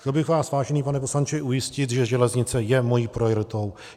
Chtěl bych vás, vážený pane poslanče, ujistit, že železnice je mou prioritou.